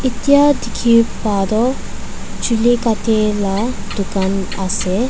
etia dikhi paa toh chuli katia la dukan ase.